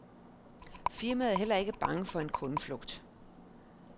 Firmaet er heller ikke bange for en kundeflugt.